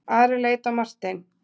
Ari leit á Martein.